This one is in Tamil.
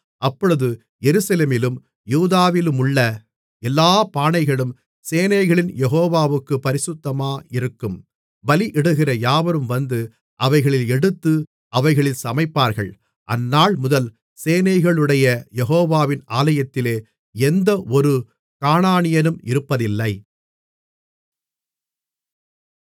அப்பொழுது எருசலேமிலும் யூதாவிலுமுள்ள எல்லாப் பானைகளும் சேனைகளின் யெகோவாவுக்குப் பரிசுத்தமாயிருக்கும் பலியிடுகிற யாவரும் வந்து அவைகளில் எடுத்து அவைகளில் சமைப்பார்கள் அந்நாள்முதல் சேனைகளுடைய யெகோவாவின் ஆலயத்திலே எந்தவொரு கானானியனும் இருப்பதில்லை